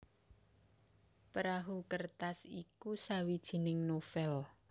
Perahu Kertas iku sawijining novèl